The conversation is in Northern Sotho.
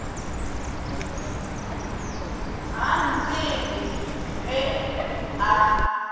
ga a ntsebe ge a